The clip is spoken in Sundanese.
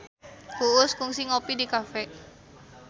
Uus kungsi ngopi di cafe